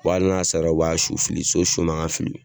hali n'a saras, u b'a su fili, so su man ka fili.